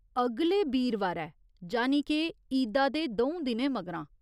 अगले बीरवारै, जानी के ईदा दे द'ऊं दिनें मगरा।